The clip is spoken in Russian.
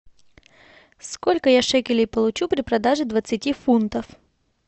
сколько я шекелей получу при продаже двадцати фунтов